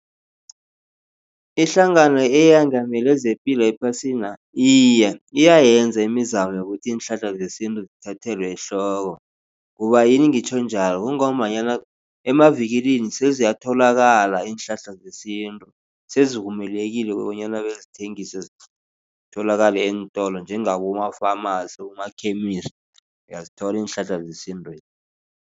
Ihlangano eyengamele zepilo ephasina iye iyayenza imizamo yokuthi iinhlahla zesintu zithathelwe ehloko. Kubayini ngitjho njalo kungombanyana emavikilini seziyatholakala iinhlahla zesintu sezivumelekile bonyana bezithengiswe zitholakale eentolo njengaboma-pharmacy, abomakhemisi uyazithola iinhlahla zesintu.